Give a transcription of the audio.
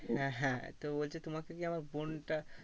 হ্যাঁ হ্যাঁ তো বলছে তোমাকে কি আমার বোনটা